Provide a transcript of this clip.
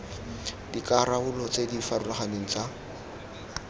dikarolo tse di farologaneng tsa